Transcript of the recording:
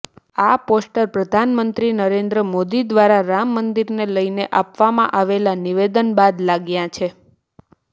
આ પોસ્ટર પ્રધાનમંત્રી નરેન્દ્ર મોદી દ્વારા રામ મંદિરને લઇને આપવામાં આવેલા નિવેદન બાદ લાગ્યા છે